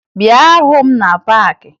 Bịa hụ m na paakị!